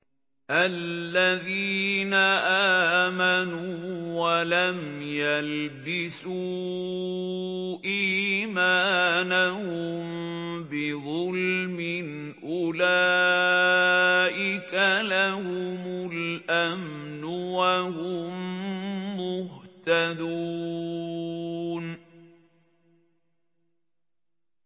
الَّذِينَ آمَنُوا وَلَمْ يَلْبِسُوا إِيمَانَهُم بِظُلْمٍ أُولَٰئِكَ لَهُمُ الْأَمْنُ وَهُم مُّهْتَدُونَ